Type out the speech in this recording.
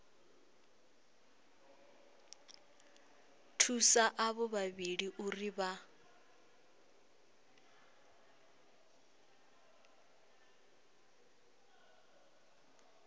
thusa avho vhavhili uri vha